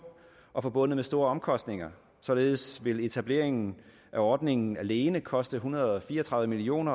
og forbundet med store omkostninger således vil etableringen af ordningen alene koste en hundrede og fire og tredive million